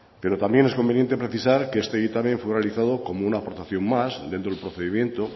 pero también es conveniente precisar que este dictamen fue analizado como una aportación más dentro del procedimiento